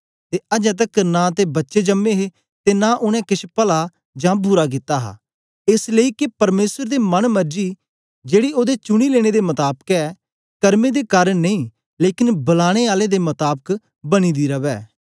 ते अजें तकर नां ते बच्चे जम्मे हे ते नां उनै केछ पला जां बुरा कित्ता हा एस लेई के परमेसर दे मन मर्जी जेड़ी ओदे चुनी लेने दे मताबक ऐ करमें दे कारन नेई लेकन बलाने आले दे मताबक बनी दी रवै